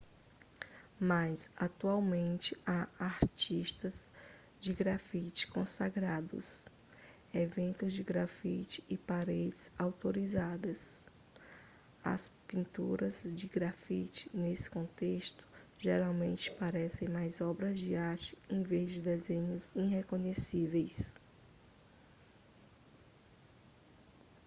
mas atualmente há artistas de grafite consagrados eventos de grafite e paredes autorizadas as pinturas de grafite nesse contexto geralmente parecem mais obras de arte em vez de desenhos irreconhecíveis